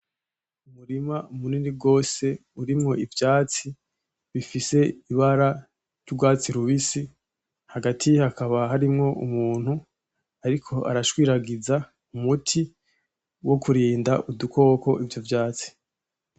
Umurima munini gose urimwo ivyatsi bifise ibara ry'urwatsi rubisi hagati hakaba harimwo umuntu ariko arashwiragiza umuti wo kurinda udukoko ivyo vyatsi.